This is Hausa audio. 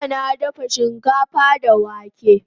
Jjya na dafa shikafa da wake